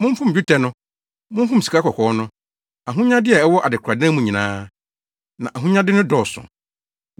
Momfom dwetɛ no! Momfom sikakɔkɔɔ no! Ahonyade a ɛwɔ adekoradan mu nyinaa! Na ahonyade no dɔɔso.